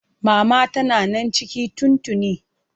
Mama tana nan ciki tun tuni.